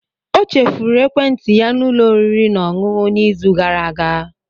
Ọ chefuru ekwentị ya na ụlọ oriri na ọṅụṅụ n'izu gara aga.